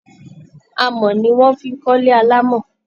Amọ̀ ni wọ́n fi ń kọ́lé alámọ̀